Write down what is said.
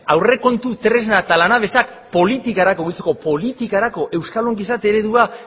aurrekontu tresna eta lanabesak politikarako politikarako euskal ongizate eredua